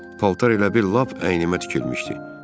Paltar elə bir lap əynimə tikilmişdi.